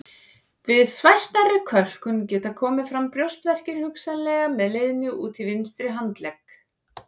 Við svæsnari kölkun geta komið fram brjóstverkir hugsanlega með leiðni út í vinstri handlegg.